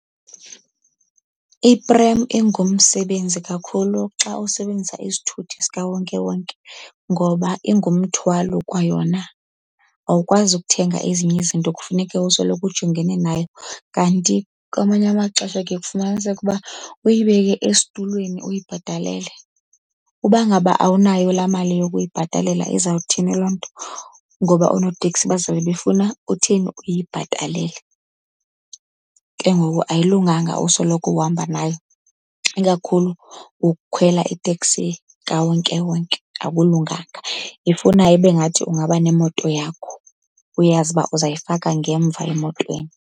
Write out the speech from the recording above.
Iprem ingumsebenzi kakhulu xa usebenzisa isithuthi sikawonkewonken ngoba ingumthwalo kwayona. Awukwazi ukuthenga ezinye izinto kufuneka usoloko ujongene nayo, kanti kwamanye amaxesha kuye kufumaniseke uba uyibeke esitulweni uyibhatalele. Uba ngaba awunayo laa mali yokuyibhatalela izawuthini loo nto? Ngoba oonoteksi bazawube befuna uthini? Uyibhatalele, ke ngoku ayilunganga usoloko uhamba nayo ikakhulu ukukhwela itekisi kawonkewonke, akulunganga. Ifuna ibe ngathi ungaba nemoto yakho, uyazi uba uzayifaka ngemva emotweni.